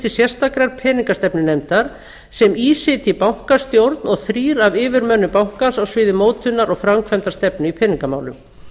sérstakrar peningastefnunefndar sem í sitji bankastjórn og þrír af yfirmönnum bankans á sviði mótunar og framkvæmdastefnu í peningamálum